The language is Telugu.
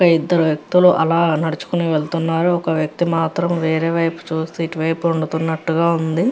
ఇక్కడ ఇద్దరు వ్యక్తులు అలా నడుచుకొని వెళ్తున్నారు. ఒక వ్యక్తి మాత్రం చూసి ఇటువైపు వెళ్తున్నట్టుగా ఉంది.